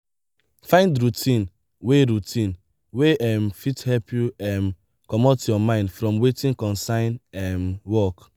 find routine wey routine wey um fit help you um comot your mind from wetin concern um work